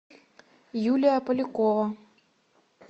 юлия полякова